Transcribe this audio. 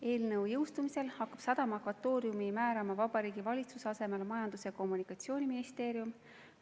Eelnõu jõustumisel hakkab sadama akvatooriumi määrama Vabariigi Valitsuse asemel Majandus- ja Kommunikatsiooniministeerium.